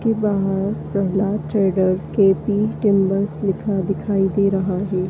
जिसके बाहर Prahlad traders K P timbers लिखा हुआ दिखाई दे रहा है।